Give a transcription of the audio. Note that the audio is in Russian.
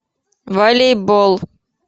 волейбол